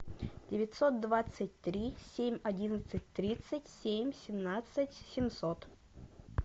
девятьсот двадцать три семь одиннадцать тридцать семь семнадцать семьсот